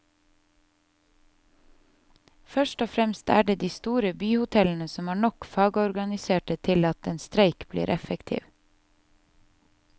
Først og fremst er det de store byhotellene som har nok fagorganiserte til at en streik blir effektiv.